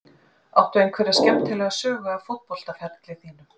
Áttu einhverja skemmtilega sögu af fótboltaferli þínum?